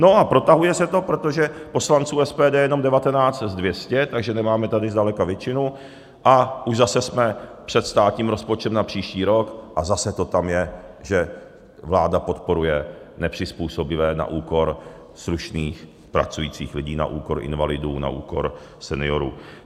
No a protahuje se to, protože poslanců SPD je jenom 19 z 200, takže nemáme tady zdaleka většinu, a už zase jsme před státním rozpočtem na příští rok a zase to tam je, že vláda podporuje nepřizpůsobivé na úkor slušných pracujících lidí, na úkor invalidů, na úkor seniorů.